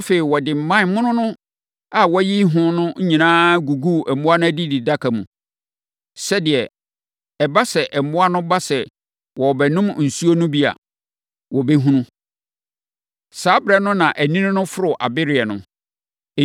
Afei, ɔde mman mono a wayiyi ho no nyinaa guguu mmoa no adidi nnaka mu, sɛdeɛ ɛba sɛ, mmoa no ba sɛ wɔrebɛnom nsuo no bi a, wɔbɛhunu. Saa ɛberɛ no na anini no foro abereɛ no.